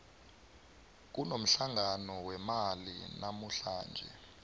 kunomhlangano wemali namuhlanje